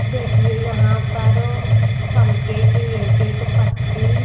देखिए यहाँ पर फंके की एक-एक पत्ती--